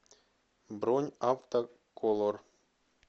бронь автоколор